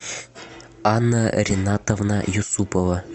анна ринатовна юсупова